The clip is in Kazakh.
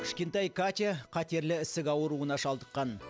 кішкентай катя қатерлі ісік ауруына шалдыққан